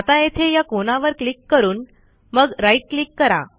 आता येथे या कोनावर क्लिक करून मग राईट क्लिक करा